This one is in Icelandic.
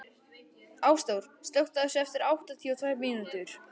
Ásþór, slökktu á þessu eftir áttatíu og tvær mínútur.